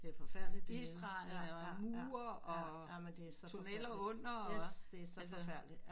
Det er forfærdeligt dernede ja ja ja jamen det er så yes det er så forfærdeligt